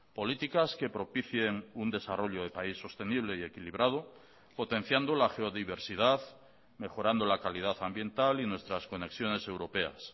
políticas que propicien un desarrollo de país sostenible y equilibrado potenciando la geodiversidad mejorando la calidad ambiental y nuestras conexiones europeas